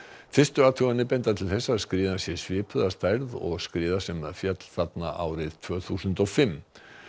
fyrstu athuganir benda til þess að skriðan sé svipuð að stærð og skriða sem féll þar árið tvö þúsund og fimm